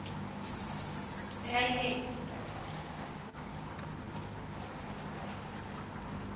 reinet